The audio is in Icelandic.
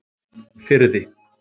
Firði